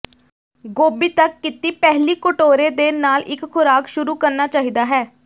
ਗੋਭੀ ਤੱਕ ਕੀਤੀ ਪਹਿਲੀ ਕਟੋਰੇ ਦੇ ਨਾਲ ਇੱਕ ਖੁਰਾਕ ਸ਼ੁਰੂ ਕਰਨਾ ਚਾਹੀਦਾ ਹੈ